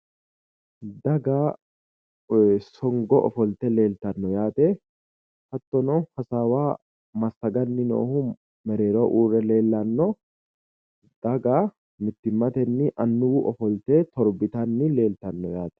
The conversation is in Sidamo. Daga songo ofolte leeltanno yaate hattono hasaawa massaganni noohu mereeroho uurre leellanno daga mittimmatenni annuwu ofolte torbitanni leeltanno yaate.